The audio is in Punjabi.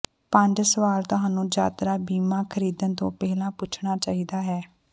ਪੰਜ ਸਵਾਲ ਤੁਹਾਨੂੰ ਯਾਤਰਾ ਬੀਮਾ ਖਰੀਦਣ ਤੋਂ ਪਹਿਲਾਂ ਪੁੱਛਣਾ ਚਾਹੀਦਾ ਹੈ